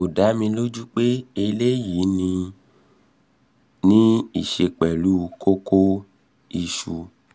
kò dá mi lójú pé eléyìí ní í ní í ṣe pẹ̀lú kókó/ìsù